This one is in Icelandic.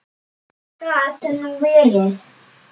Gat nú verið!